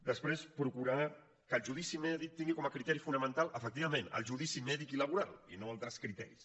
després procurar que el judici mèdic tingui com a criteri fonamental efectivament el judici mèdic i laboral i no altres criteris